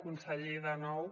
conseller de nou